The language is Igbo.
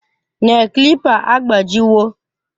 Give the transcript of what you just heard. Nel klipa agbajiwo